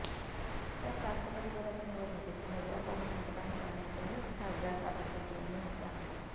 तर राष्ट्रपतीपदाच्या निवडणुकीत उमेदवार पाहून मतदान करणार असल्याचंही खासदार राजू शेट्टी यांनी म्हटलं आहे